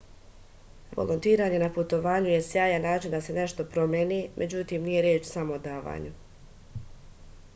volontiranje na putovanju je sjajan način da se nešto promeni međutim nije reč samo o davanju